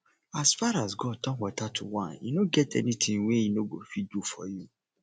as far as god turn water to wine e no get anything wey e no go fit do for you